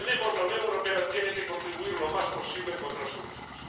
La Unión Europea tiene que contribuir lo más posible a encontrar soluciones.